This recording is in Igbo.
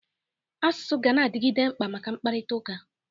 Asụsụ ganadịgide mkpa maka mkpakụrịtaụka.